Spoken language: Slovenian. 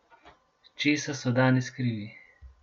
Česa so danes krivi?